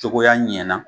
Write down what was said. Cogoya ɲɛna